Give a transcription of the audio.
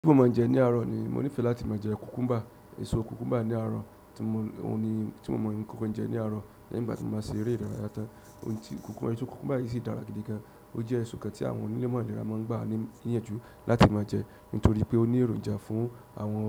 Bí mo ma jẹ ní àárọ̀ ni mo nífẹ̀ẹ́ láti máa jẹ kùkúmbà, èso kùkúmbà ní àárọ̀ tí mo ò ní tí mo mọ̀ nǹkan kan jẹ ní àárọ̀, lẹ́yìn ìgbà tí mo bá ṣe eré ìdárayá tán. Ohun ti kùkúmbà èso kùkúmbà yìí sì dára gidi gan-an. Ó jẹ́ èso kan tí àwọn onímọ̀ àlìrà máa ń gbà ní ìyànjú láti máa jẹ nítorí pé ó ní èròjà fún àwọn